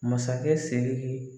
Masakɛ Siriki